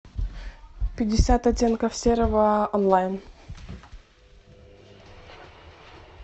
пятьдесят оттенков серого онлайн